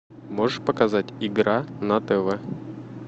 можешь показать игра на тв